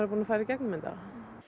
búinn að fara í gegnum þetta